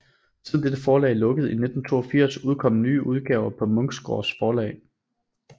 Siden dette forlag lukkede i 1982 udkom nye udgaver på Munksgaard Forlag